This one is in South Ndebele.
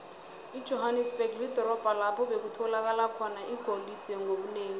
ijohanesberg lidorobho lapho bekutholakala khona igolide ngobunengi